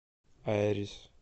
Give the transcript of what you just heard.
айрис